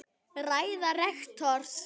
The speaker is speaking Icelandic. Ræða rektors